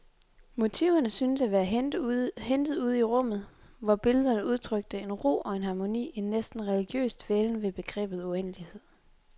Motiverne syntes at være hentet ude i rummet, hvor billederne udtrykte en ro og en harmoni, en næsten religiøs dvælen ved begrebet uendelighed.